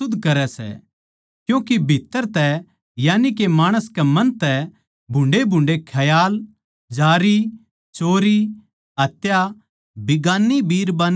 क्यूँके भीत्त्तर तै यानिके माणस कै मन तै भुन्डे़भुन्डे़ ख्याल जारी चोरी हत्या बिगान्नी बिरबान्नी धोरै जाणा